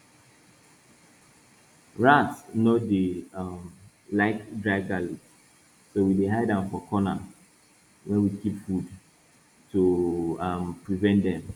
rats nor dey um like dry garlic so we dey hide am for corner wey we keep food to um prevent dem